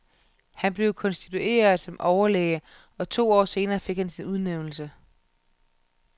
Han blev konstitueret som overlæge og to år senere fik han sin udnævnelse.